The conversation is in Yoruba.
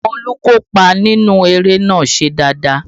Àwọn olùkópa inú eré náà ṣe dáadáa